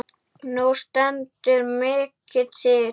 Nú stendur mikið til.